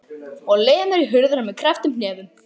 Og lemur í hurðina með krepptum hnefum.